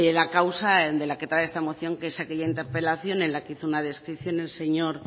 la causa de la que trae esta moción que es aquella interpelación en la que hizo una descripción el señor